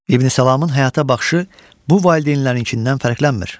İbn Salamın həyata baxışı bu valideynlərinkindən fərqlənmir.